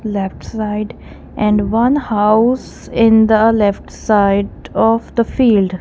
left side and one house in the left side of the field.